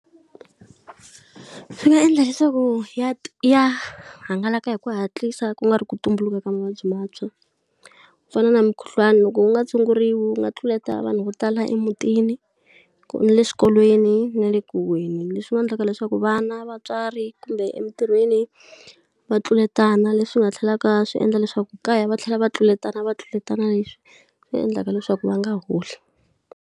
Swi nga endla leswaku ya ya hangalaka hi ku hatlisa ku nga ri ku tumbuluka ka mavabyi mantshwa. Ku fana na mukhuhlwani loko wu nga tshunguriwi wu nga tluleta vanhu vo tala emutini, na le swikolweni, na le ku huhweni. Leswi nga endlaka leswaku vana, vatswari, kumbe emintirhweni va tluletana leswi nga tlhelaka swi endla leswaku kaya va tlhela va tluletana va tluletana leswi swi endlaka leswaku va nga holi.